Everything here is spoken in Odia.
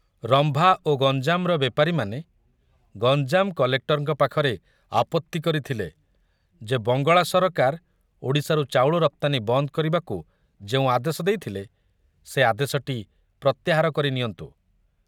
ରମ୍ଭା ଓ ଗଞ୍ଜାମର ବେପାରୀମାନେ ଗଞ୍ଜାମ କଲେକ୍ଟରଙ୍କ ପାଖରେ ଆପତ୍ତି କରିଥିଲେ ଯେ ବଙ୍ଗଳା ସରକାର ଓଡ଼ିଶାରୁ ଚାଉଳ ରପ୍ତାନୀ ବନ୍ଦ କରିବାକୁ ଯେଉଁ ଆଦେଶ ଦେଇଥିଲେ, ସେ ଆଦେଶଟି ପ୍ରତ୍ୟାହାର କରି ନିଅନ୍ତୁ।